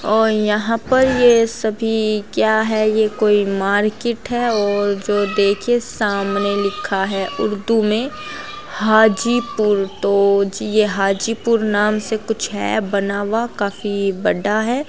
और यहाँ पर यह सभी क्या है यह कोई मार्केट है और जो देखे सामने लिखा है उर्दू में हाजीपुर तो यह हाजीपुर नाम से कुछ है बना हुआ काफी बड़ा है।